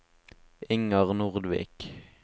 Inger Nordvik